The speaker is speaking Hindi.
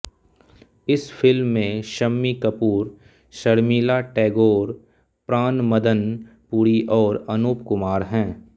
इस फिल्म में शम्मी कपूर शर्मिला टैगोर प्राण मदन पुरी और अनूप कुमार हैं